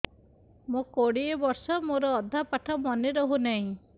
ମୋ କୋଡ଼ିଏ ବର୍ଷ ମୋର ଅଧା ପାଠ ମନେ ରହୁନାହିଁ